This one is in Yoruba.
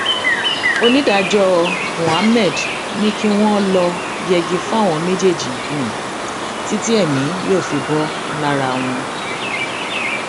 onídàájọ mohammed ni kí wọn lọọ yẹgi fáwọn méjèèjì títí èmi yóò fi bò lára wọn